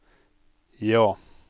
ja